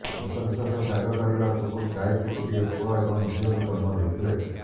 ଶେଷ ନିଃଶ୍ବାସ ତ୍ୟାଗ କରିବା ପୂର୍ବରୁ ଗାୟତ୍ରୀ ଗୋଟିଏ ପୁଅ ଏବଂ ଝିଅକୁ ଜନ୍ମ ଦେଇଥିଲେ